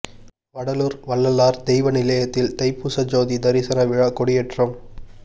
வடலூா் வள்ளலாா் தெய்வ நிலையத்தில் தைப்பூச ஜோதி தரிசன விழா கொடியேற்றம்